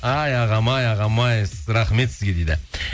ай ағам ай ағам ай рахмет сізге дейді